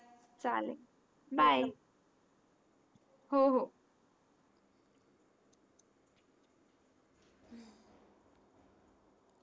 हो हो चालेल बाय हो हो